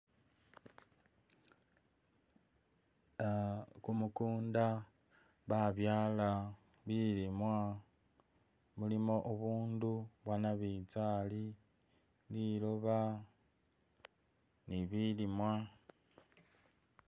Ah kumukunda babyala bilimwa mulimo ubundu bwanabitsali liloba nibilimwa